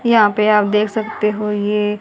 यहा पे आप देख सकते हो ये--